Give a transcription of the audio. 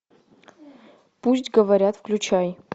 пусть говорят включай